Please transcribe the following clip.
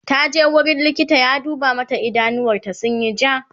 taje wurin likita ya duba mata idanuwar ta sunyi ja